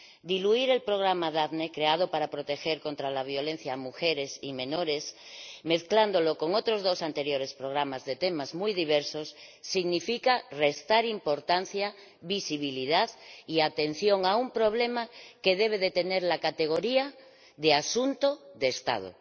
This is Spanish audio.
Diluir el programa Daphne, creado para proteger contra la violencia a mujeres y menores, mezclándolo con otros dos programas anteriores de temas muy diversos, significa restar importancia, visibilidad y atención a un problema que debe de tener la categoría de asunto de Estado.